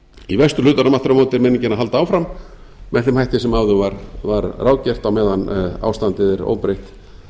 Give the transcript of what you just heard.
í vesturhlutanum aftur á móti er meiningin að halda áfram með þeim hætti sem áður var ráðgert á meðan ástandið er óbreytt